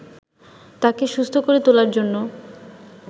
তাকে সুস্থ করে তোলার জন্য